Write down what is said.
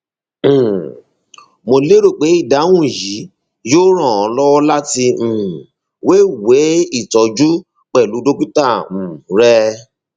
um mo lérò pé ìdáhùn yìí yóò ràn ọ lọwọ láti um wéwèé ìtọjú pẹlú dókítà um rẹ